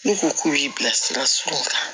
N'u ko k'u y'i bilasira sɔrɔ kan